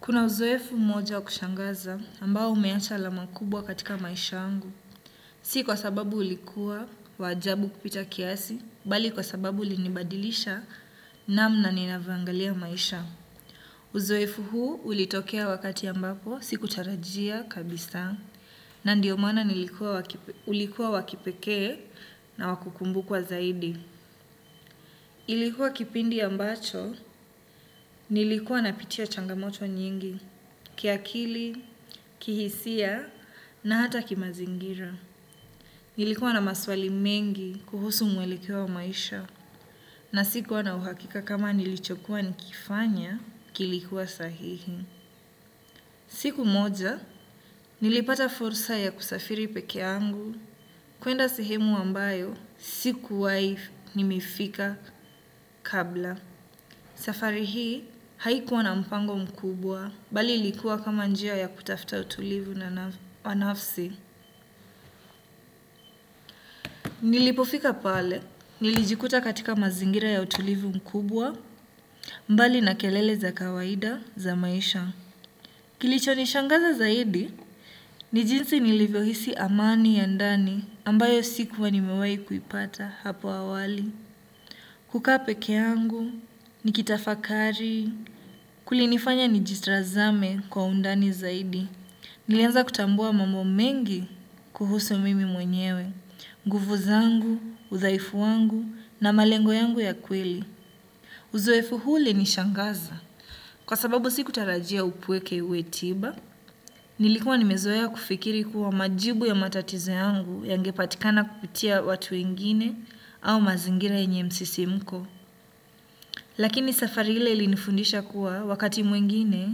Kuna uzoefu mmoja wa kushangaza ambao umeacha alama kubwa katika maisha yangu. Si kwa sababu ulikuwa wa ajabu kupita kiasi, bali kwa sababu ulinibadilisha namna ninavyoangalia maisha. Uzoefu huu ulitokea wakati ambapo, sikutarajia kabisa, na ndiyo maana ulikuwa wa kipekee na wa kukumbukwa zaidi. Ilikuwa kipindi ambacho, nilikuwa napitia changamoto nyingi, kiakili, kihisia, na hata kimazingira. Nilikuwa na maswali mengi kuhusu mwelekeo wa maisha, na sikuwa na uhakika kama nilichokuwa nikifanya, kilikuwa sahihi. Siku moja, nilipata fursa ya kusafiri pekeyangu, kuenda sihemu ambayo, sikuwai nimefika kabla. Safari hii haikuwa na mpango mkubwa bali ilikuwa kama njia ya kutafuta utulivu na wanafsi. Nilipofika pale, nilijikuta katika mazingira ya utulivu mkubwa mbali na kelele za kawaida za maisha. Kilichonishangaza zaidi ni jinsi nilivyohisi amani ya ndani ambayo sikuwa nimewai kuipata hapo awali. Kukaa peke yangu, nikitafakari, kulinifanya nijitazame kwa undani zaidi. Nilianza kutambua mambo mengi kuhusu mimi mwenyewe, nguvu zangu, udhaifu wangu na malengo yangu ya kweli. Uzoefu huu ulinishangaza. Kwa sababu sikutarajia upweke uwe tiba, nilikuwa nimezoea kufikiri kuwa majibu ya matatizo yangu yangepatikana kupitia watu wengine au mazingira yenye msisimko. Lakini safari ile ilinifundisha kuwa wakati mwingine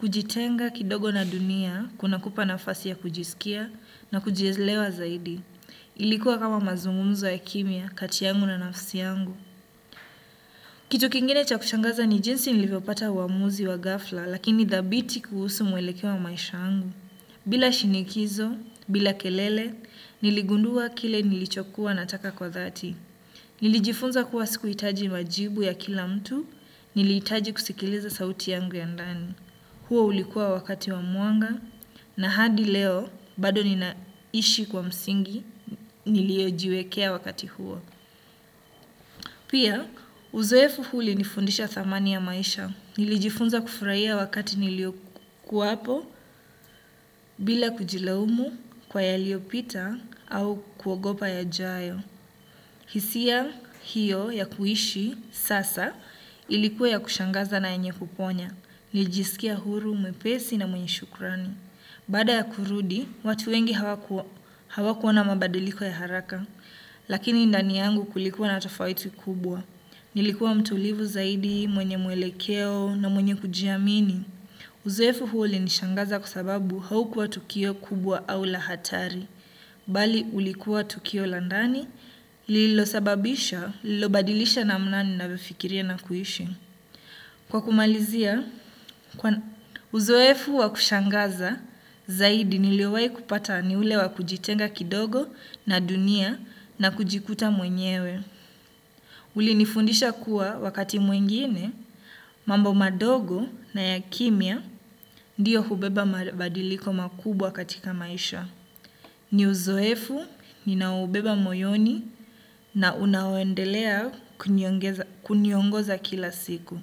kujitenga kidogo na dunia kunakupa nafasi ya kujiskia na kujielewa zaidi. Ilikuwa kama mazungumzo ya kimya kati yangu na nafsi yangu. Kitu kingine cha kushangaza ni jinsi nilivyopata uamuzi wa ghafla lakini dhabiti kuhusu mwelekeo wa maisha angu. Bila shinikizo, bila kelele, niligundua kile nilichokuwa nataka kwa dhati. Nilijifunza kuwa sikuhitaji majibu ya kila mtu nilijitaji kusikiliza sauti yangu ya ndani. Huo ulikua wakati wa mwanga na hadi leo bado ninaishi kwa msingi niliojiwekea wakati huo. Pia uzoefu huu ulinifundisha thamani ya maisha. Nilijifunza kufurahia wakati niliokuwapo bila kujilaumu kwa yaliopita au kuogopa yajayo. Hisia hiyo ya kuishi sasa ilikuwa ya kushangaza na yenye kuponya nilijiskia huru, mwepesi na mwenye shukrani. Baada ya kurudi, watu wengi hawakuona mabadiliko ya haraka. Lakini ndani yangu kulikuwa na tofauti kubwa. Nilikuwa mtulivu zaidi, mwenye mwelekeo na mwenye kujiamini. Uzoefu huu ulinishangaza kwa sababu haukua tukio kubwa au la hatari. Bali ulikuwa tukio la ndani lililosababisha, lililobadilisha namna ninavyofikiria na kuishi. Kwa kumalizia, uzoefu wa kushangaza zaidi niliowai kupata ni ule wa kujitenga kidogo na dunia na kujikuta mwenyewe. Ulinifundisha kuwa wakati mwengine, mambo madogo na ya kimya ndiyo hubeba badiliko makubwa katika maisha. Ni uzoefu, ninaobeba moyoni na unaoendelea kuniongoza kila siku.